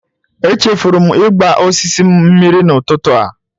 Echefuru m ịgba osisi m mmiri n'ụtụtụ a.